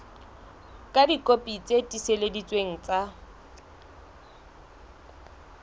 ka dikopi tse tiiseleditsweng tsa